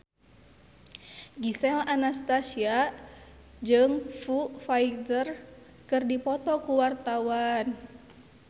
Gisel Anastasia jeung Foo Fighter keur dipoto ku wartawan